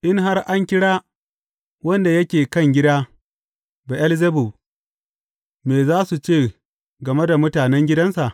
In har an kira wanda yake kan gida Be’elzebub, me za su ce game da mutanen gidansa?